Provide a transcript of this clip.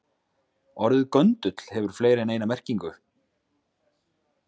Orðið göndull hefur fleiri en eina merkingu.